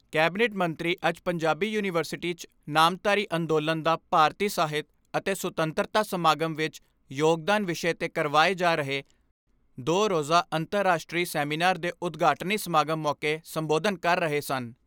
Cabinet ਮੰਤਰੀ ਅੱਜ Punjabi university 'ਚ ' ਨਾਮਧਾਰੀ ਅੰਦੋਲਨ ਦਾ ਭਾਰਤੀ ਸਾਹਿਤ ਅਤੇ ਸੁਤੰਤਰਤਾ ਸੰਗਰਾਮ ਵਿੱਚ ਯੋਗਦਾਨ ' ਵਿਸ਼ੇ 'ਤੇ ਕਰਵਾਏ ਜਾ ਰਹੇ ਦੋ ਰੋਜ਼ਾ ਅੰਤਰ ਰਾਸ਼ਟਰੀ ਸੈਮੀਨਾਰ ਦੇ ਉਦਘਾਟਨੀ ਸਮਾਗਮ ਮੌਕੇ ਸੰਬੋਧਨ ਕਰ ਰਹੇ ਸਨ।